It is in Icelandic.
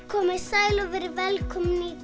komiði sæl og verið velkomin